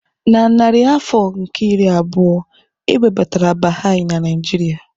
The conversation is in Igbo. Na narị afọ nke iri abụọ, e webatara Baha'i na Nigeria.